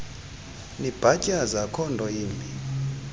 nibhatyaza akhonto imbi